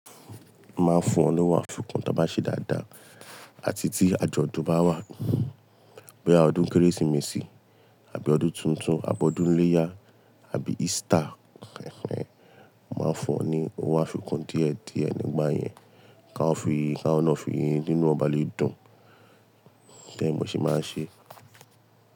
Máa fún wọn ní owó àfikún tí a bá ṣe dáadáa àti tí àjọ̀dún bá wà. Boya ọdún Kérésìmesì àbí ọdún tuntun, àbọ́dún iléyá àbí Easter, máa fún wọn ní owó àfikún díẹ̀ díẹ̀ nígbà yẹn, káwọn náà fi yín kínú won ba lè dùn. Bẹ́ẹ̀ mo se máa ń ṣe.